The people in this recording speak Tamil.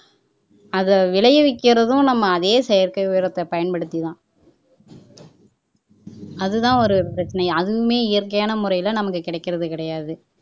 அதை விளைய வைக்கிறதும் நம்ம அதே செயற்கை உரத்தை பயன்படுத்திதான் அதுதான் ஒரு பிரச்சனை அதுவுமே இயற்கையான முறையில நமக்கு கிடக்கிறது கிடையாது